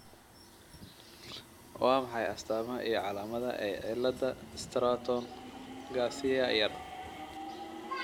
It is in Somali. Waa maxay astamaha iyo calaamadaha ee cilada Stratton Garcia Yaar?